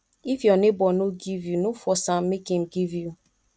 if your neighbor no give you no force am make im give you